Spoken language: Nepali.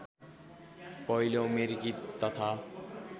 पहिलो अमेरिकी तथा